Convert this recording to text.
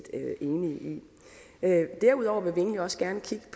enige i derudover vil egentlig også gerne kigge